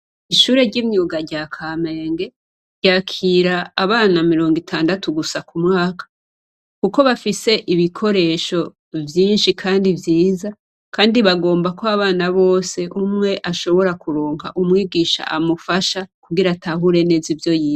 Ishure ry'imyuga rya Kamenge ryakira abana mirongo itandatu gusa ku mwaka kuko bafise ibikoresho vyinshi kandi vyiza kandi bagomba ko abana bose umwe ashobore kuronka umwigisha amufasha kugira atahure neza ivyo yize.